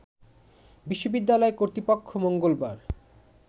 বিশ্ববিদ্যালয় কর্তৃপক্ষ মঙ্গলবার